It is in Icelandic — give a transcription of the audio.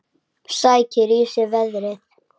Sækir í sig veðrið.